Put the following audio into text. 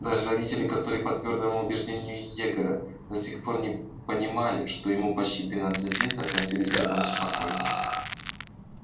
даже родители которые по твёрдому убеждению егора до сих пор не понимали что ему почти тринадцать лет относились к этому спокойно